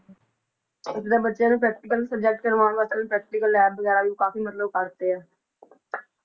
ਇੱਥੇ ਤਾਂ ਬੱਚਿਆਂ ਦੇ practical subject ਕਰਵਾਉਣ ਵਾਸਤੇ ਵੀ practical lab ਵਗ਼ੈਰਾ ਵੀ ਕਾਫ਼ੀ ਮਤਲਬ ਕਰ ਦਿੱਤੇ ਹੈ